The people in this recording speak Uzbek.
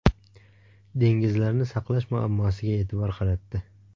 Dengizlarni saqlash muammosiga e’tibor qaratdi.